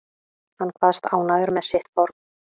Hann kvaðst ánægður með sitt form